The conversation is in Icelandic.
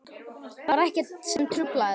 Það var ekkert sem truflaði þá.